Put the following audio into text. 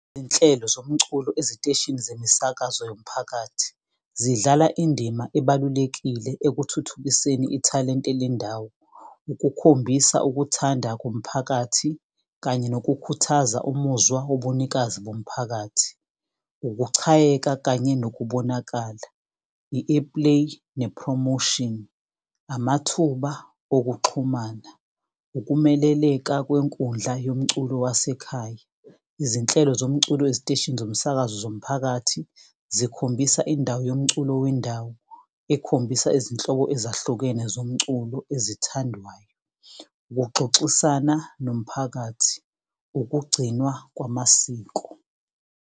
Izinhlelo zomculo eziteshini zemisakazo yomphakathi zidlala indima ebalulekile ekuthuthukiseni ithalente lendawo, ukukhombisa ukuthanda kumphakathi kanye nokukhuthaza umuzwa wobunikazi bomphakathi. Ukuchayeka kanye nokubonakala, i-airplay ne-promotion. Amathuba okuxhumana, ukumeleleka kwenkundla yomculo wasekhaya. Izinhlelo zomculo eziteshini zomsakazo zomphakathi zikhombisa indawo yomculo wendawo ekhombisa izinhlobo ezahlukene zomculo ezithandwayo. Ukuxoxisana nomphakathi, ukugcinwa kwamasiko.